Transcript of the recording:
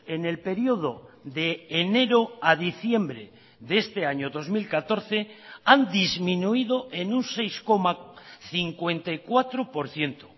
en el periodo de enero a diciembre de este año dos mil catorce han disminuido en un seis coma cincuenta y cuatro por ciento